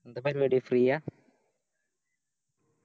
എന്താ പരിപാടി Free യ